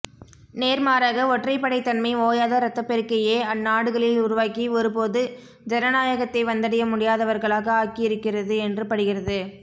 நேர் மாறாக ஒற்றைபப்டைத்தன்மை ஓயாத ரத்தப்பெருக்கையே அந்நாடுகளில் உருவாக்கி ஒருபோது ஜனநாயகத்தை வந்தடைய முடியாதவர்களாக ஆக்கியிருக்கிறது என்று படுகிறது